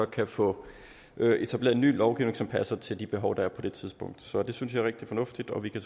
kan få etableret en ny lovgivning som passer til de behov der er på det tidspunkt så det synes jeg er rigtig fornuftigt og vi kan